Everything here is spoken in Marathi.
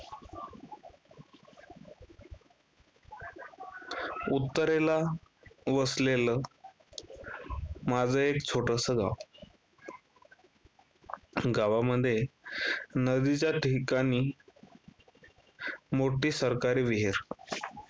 उत्तरेला वसलेलं माझं एक छोटसं गाव. गावामध्ये नदीच्या ठिकाणी मोठी सरकारी विहीर.